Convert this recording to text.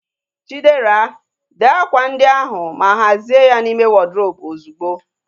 Chidera, dee akwa ndi ahu ma hazie ha n'ime wọdrobu ozugbo!